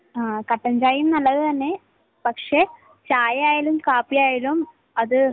ങ്ഹാ. കട്ടൻ ചായയും നല്ലതുതന്നെ. പക്ഷെ ചായയായാലും കാപ്പിയായാലും അത്